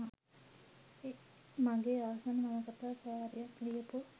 මගේ ආසම නවකතා කාරියක් ලියපු.